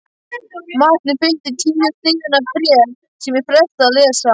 Matnum fylgdi tíu síðna bréf sem ég frestaði að lesa.